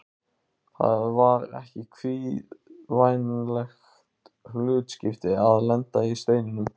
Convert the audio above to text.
Það var ekki kvíðvænlegt hlutskipti að lenda í Steininum.